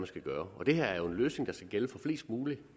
skal gøre og det her er jo en løsning der skal gælde for flest mulige